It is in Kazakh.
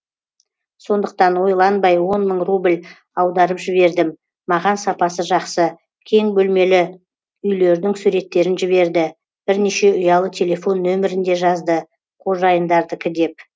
сондықтан ойланбай он мың рубль аударып жібердім маған сапасы жақсы кең бөлмелі үйлердің суреттерін жіберді бірнеше ұялы телефон нөмірін де жазды қожайындардікі деп